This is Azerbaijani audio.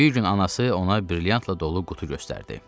Bir gün anası ona brilyantla dolu qutu göstərdi.